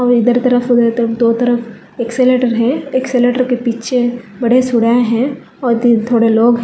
और इधर तरफ उधर तरफ दो तरफ एक्सीलरेटर है एक्सीलरेटर के पीछे बड़े है और दी थोड़े लोग हैं।